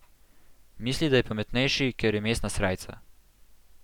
Misli, da je pametnejši, ker je mestna srajca.